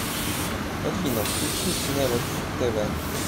афина включи невекс тэ вэ